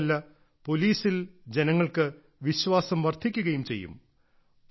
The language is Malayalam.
മാത്രവുമല്ല പോലീസിൽ ജനങ്ങൾക്ക് വിശ്വാസം വർധിക്കുകയും ചെയ്യും